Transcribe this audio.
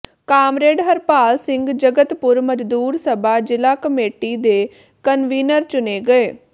comrade Harpal Singh Jagatpur ਮਜ਼ਦੂਰ ਸਭਾ ਜ਼ਿਲ੍ਹਾ ਕਮੇਟੀ ਦੇ ਕਨਵੀਨਰ ਚੁਣੇ ਗਏ